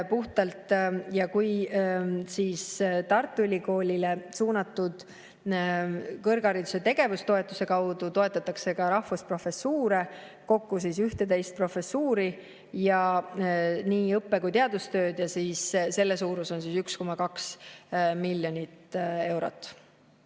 Tartu Ülikoolile suunatud kõrghariduse tegevustoetuse kaudu toetatakse rahvusprofessuure, kokku 11 professuuri, nii õppe- kui ka teadustööd, ja selle suurus on 1,2 miljonit eurot.